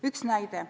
Üks näide.